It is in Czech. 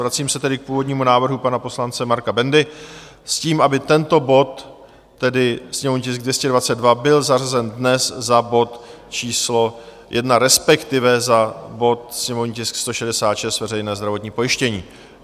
Vracím se tedy k původnímu návrhu pana poslance Marka Bendy s tím, aby tento bod, tedy sněmovní tisk 222, byl zařazen dnes za bod číslo 1, respektive za bod sněmovní tisk 166, veřejné zdravotní pojištění.